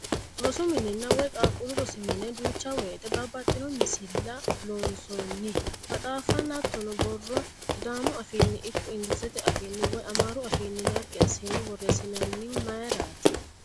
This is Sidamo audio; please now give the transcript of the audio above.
Rosu minna woyi qaaqqullu rosi mine duucha woyiite babbaxino misilla loonsoonni maxaafanna hattono borro sidaamu afiinni ikko engilizete afiinni woyi amaaru afiinni naggi assine borreessinayihu mayiirati?